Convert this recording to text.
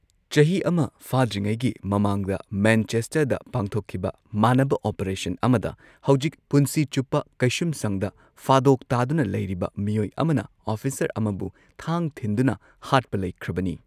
ꯆꯍꯤ ꯑꯃ ꯐꯥꯗ꯭ꯔꯤꯉꯩꯒꯤ ꯃꯃꯥꯡꯗ ꯃꯦꯟꯆꯦꯁꯇꯔꯗ ꯄꯥꯡꯊꯣꯛꯈꯤꯕ ꯃꯥꯟꯅꯕ ꯑꯣꯄꯔꯦꯁꯟ ꯑꯃꯗ ꯍꯧꯖꯤꯛ ꯄꯨꯟꯁꯤ ꯆꯨꯞꯄ ꯀꯩꯁꯨꯝꯁꯪꯗ ꯐꯥꯗꯣꯛ ꯇꯥꯗꯨꯅ ꯂꯩꯔꯤꯕ ꯃꯤꯑꯣꯏ ꯑꯃꯅ ꯑꯣꯐꯤꯁꯔ ꯑꯃꯕꯨ ꯊꯥꯡ ꯊꯤꯟꯗꯨꯅ ꯍꯥꯠꯄ ꯂꯩꯈ꯭ꯔꯕꯅꯤ꯫